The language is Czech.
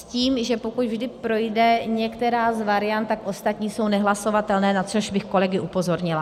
S tím, že pokud vždy projde některá z variant, tak ostatní jsou nehlasovatelné, na což bych kolegy upozornila.